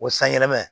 O sanyɛlɛma